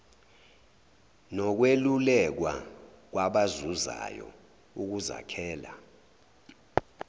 nokwelulekwa kwabazuzayo ukuzakhela